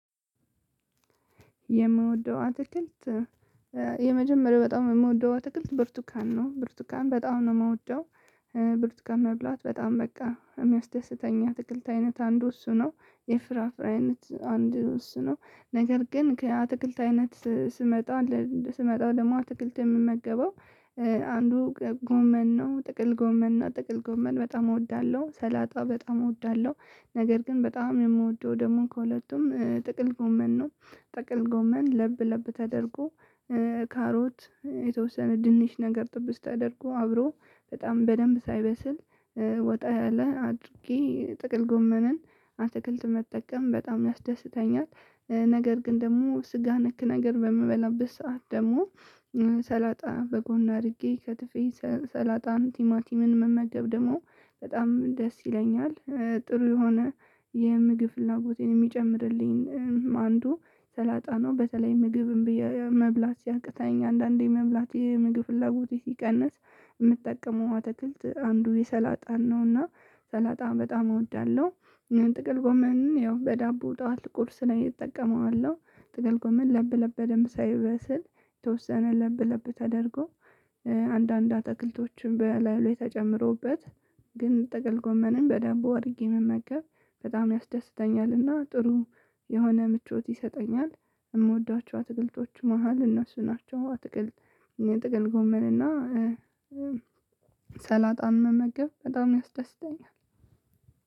የምወደው አትክልት የመጀመሪያው በጣም የምወደው አትክልት ብርቱካን ነው። ብርቱካን በጣም ነው ምወደው ብርቱካን መብላት በጣም በቃ የሚያስደስተኝ አትክልት አይነት አንዱ እሱ ነው። የፍራፍሬ አይነት አንዱ እሱ ነው። ነገር ግን ከአትክልት አይነት ስመጣ ስመጣ ደግሞ አትክልት የምመገበው አንዱ ጎመን ነው። ጥቅል ጎመን እና ጥቅል ጎመን በጣም እወዳለሁ ሰላጣ በጣም እወዳለሁ። ነገር ግን በጣም የምወደው ደግሞ ከሁለቱም ጥቅል ጎመን ነው። ጥቅል ጎመን ለብ ለብ ተደርጎ። ካሮት የተወሰነ ድንች ነገር ጥብስ ተደርጎ አብሮ በጣም በደንብ ሳይበስል ወጣ ያለ አድርጌ ጥቅል ጎመንን አትክልት መጠቀም በጣም ያስደስተኛል። ነገር ግን ደግሞ ስጋ ነክ ነገር በምበላበት ሰዓት ደግሞ ሰላጣ በጎመን አድርጌ ከትፌ ሰላጣን ቲማቲምን መመገብ ደግሞ በጣም ደስ ይለኛል። ጥሩ የሆነ የምግብ ፍላጎት የሚጨምርልኝ አንዱ ሰላጣ ነው። በተለይ ምግብ እምቢ እያለኝ መብላት ሲያቅተኝ አንዳንዴ መብላት የምግብ ፍላጎት ሲቀንስ የምጠቀመው አትክልት አንዱ የሰላጣን ነውና ሰላጣን በጣም እወዳለሁ። ጥቅል ጎመን ያው በዳቦ ጠዋት ቁርስ ላይ እጠቀመዋለሁ። ጥቅል ጎመን ለብ ለብ በደንብ ሳይበስል የተወሰነ ለብ ለብ ተደርጎ። አንዳንድ አትክልቶችን በላዩ ላይ ተጨምሮበት ግን ጥቅል ጎመንን በደንብ አድርጌ መመገብ በጣም ያስደስተኛልና። ጥሩ የሆነ ምቾት ይሰጠኛል። የምወዳቸው አትክልቶች መሃል እነሱ ናቸው አትክልት። ጥቅል ጎመን እና። ሰላጣን መመገብ በጣም ያስደስተኛል።